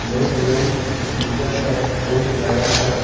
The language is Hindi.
मेडियम पिज़्ज़ा का बोर्ड लगा है।